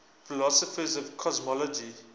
philosophers of cosmology